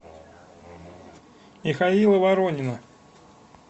михаила воронина